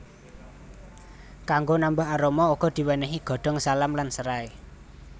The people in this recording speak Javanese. Kanggo nambah aroma uga diwénéhi godhong salam lan serai